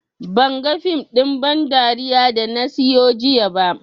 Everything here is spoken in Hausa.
Banga fim ɗin ban dariya da na siyo jiya ba